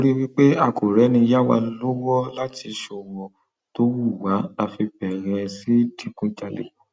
torí pé a kò rẹni yá wa lọwọ láti ṣọwó tó wù wá la fi bẹrẹ sí í digunjalè